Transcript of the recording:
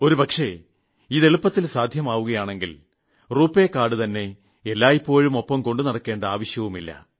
ഒരുപക്ഷേ ഇത് എളുപ്പത്തിൽ സാധ്യമാവുകയാണെങ്കിൽ രൂപയ് കാർഡ്സ് എല്ലായ്പ്പോഴും ഒപ്പംകൊണ്ടു നടക്കേണ്ട ആവശ്യമില്ല